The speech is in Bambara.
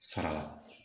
Sara la